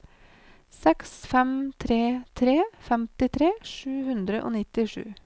seks fem tre tre femtitre sju hundre og nittisju